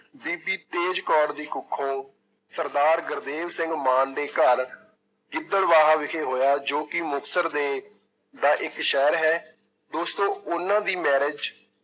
ਬੀਬੀ ਤੇਜ ਕੌਰ ਦੀ ਕੁੱਖੋਂ ਸਰਦਾਰ ਗੁਰਦੇਵ ਸਿੰਘ ਮਾਨ ਦੇ ਘਰ ਗਿਦੜਵਾਹਾ ਵਿਖੇ ਹੋਇਆ ਜੋ ਕਿ ਮੁਕਤਸਰ ਦੇ ਦਾ ਇੱਕ ਸ਼ਹਿਰ ਹੈ, ਦੋਸਤੋ ਉਹਨਾਂ ਦੀ marriage